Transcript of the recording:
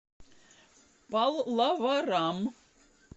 паллаварам